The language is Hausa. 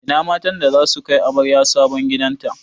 Ina matan da zasu kai amaryar sabon gidan ta?